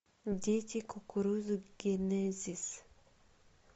дети кукурузы генезис